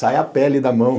Sai a pele da mão.